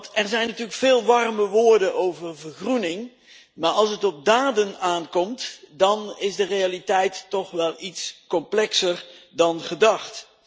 Er zijn natuurlijk veel warme woorden over vergroening, maar als het op daden aankomt dan is de realiteit toch wel iets complexer dan gedacht.